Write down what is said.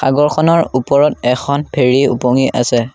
খনৰ ওপৰত এখন ফেৰী ওপঙি আছে।